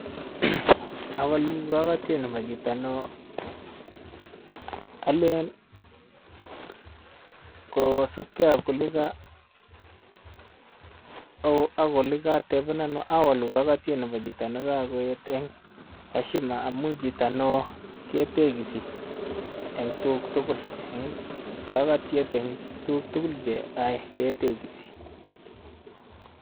Owolu kokotiet nebo chito neo olen koosubkei ok oleka ak olekatebenan owolu kokotiet nebo chito nekokoet en heshima amun chito neo ketekisi en tuguk tugul en kokotiet en tuguk tugul cheyoe ketekisi.